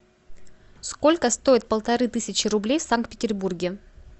сколько стоит полторы тысячи рублей в санкт петербурге